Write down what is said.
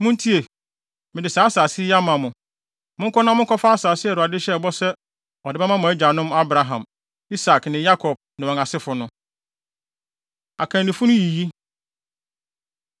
Muntie! Mede saa asase yi ama mo. Monkɔ na monkɔfa asase a Awurade hyɛɛ bɔ sɛ ɔde bɛma mo agyanom Abraham, Isak ne Yakob ne wɔn asefo no.” Akannifo No Yiyi